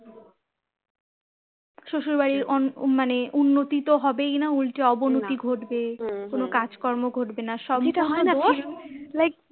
শ্বশুরবাড়ির অন মানে উন্নতি তো হবেই না উল্টে অবনতি ঘটবে কোনো কাজকর্ম হবেনা like